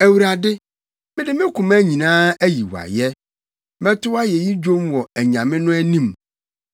Awurade, mede me koma nyinaa ayi wo ayɛ; mɛto wʼayeyi dwom wɔ “anyame” no anim.